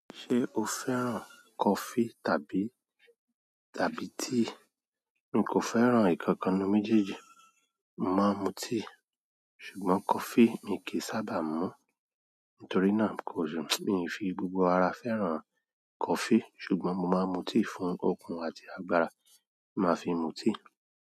Ṣé o fẹ́ràn coffee tàbí, tàbí tea? Ń kò fẹ́ràn ǹkan kan nu méjèèjì. Mo máa ń mu tea, ṣùgbọ́n coffee mi kìí sábà mú. Nítorínà, mi fi gbogbo ara fẹ́ràn coffee, ṣùgbọ́n mo ma mu tea fún okun àti agbára. Máa fi mu tea.